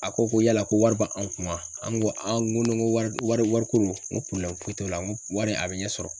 A ko ko yala ko wari b'an kunna an ko an ko n ko ni wari ni wari ko n ko foyi t'o la, n ko wari a bi ɲɛsɔrɔ